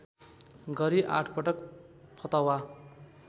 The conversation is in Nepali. गरी आठपटक फतवा